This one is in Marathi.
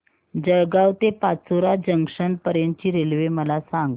जळगाव ते पाचोरा जंक्शन पर्यंतची रेल्वे मला सांग